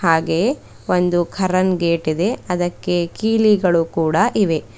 ಹಾಗೆ ಒಂದು ಕರ್ರನ್ ಗೇಟ್ ಇದೆ ಅದಕ್ಕೆ ಕೀಲಿಗಳು ಕೂಡ ಇವೆ.